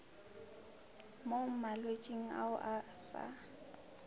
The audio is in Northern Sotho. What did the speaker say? mo malwetšing ao a sa